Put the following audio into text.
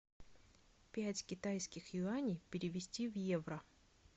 пять китайских юаней перевести в евро